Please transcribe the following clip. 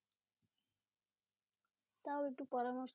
তাও একটু পরামর্শ?